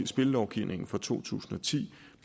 spillelovgivningen fra to tusind og ti